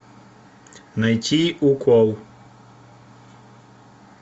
найти укол